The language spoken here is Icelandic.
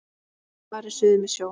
Farið suður með sjó.